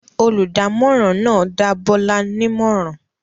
Olùdámọ̀ràn náà dá Bọ́lá nímọ̀ràn.